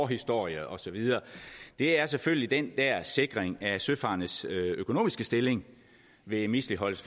historie og så videre er selvfølgelig den der sikring af søfarendes økonomiske stilling ved misligholdelse